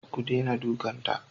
Ku dena dukan ta!